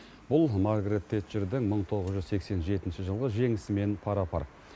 бұл маргарет тэтчердің мың тоғыз жүз сексен жетінші жылғы жеңісімен пара пар